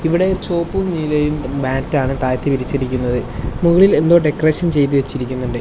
ഇവിടെ ചുമപ്പും നീലയും മാറ്റ് ആണ് താഴത്ത് വിരിച്ചിരിക്കുന്നത് മുകളിൽ എന്തോ ഡെക്കറേഷൻ ചെയ്തു വെച്ചിരിക്കുന്നുണ്ട്.